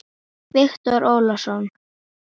Það er sárt sakna.